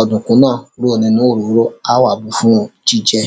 ọ̀dùnkún náà kúrò nínú òróró, a á wá bùú fún jíjẹ.